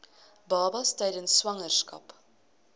babas tydens swangerskap